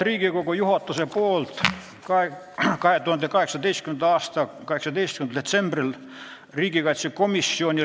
Riigikogu juhatus määras eelnõu juhtivkomisjoniks riigikaitsekomisjoni.